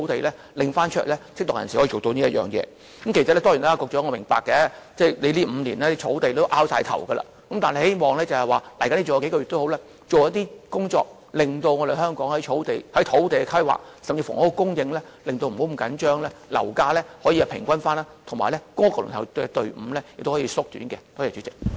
當然，我也明白，在這5年間，土地問題已令局長非常苦惱，但希望他在餘下數個月的任期，做一些工作，令香港有適當的土地規劃，房屋供應不要過於緊張，樓價可以平穩，以及公屋輪候隊伍可以縮短。